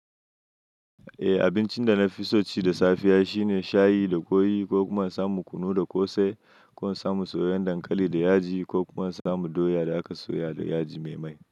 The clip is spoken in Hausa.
Eh, abincin da na fi so ci da safiya shine shayi da kwai ko kuma in samu kunu da ƙosai ko in samu soyayyen dankali da yaji ko kuma in samu doya da aka soya da yaji me mai.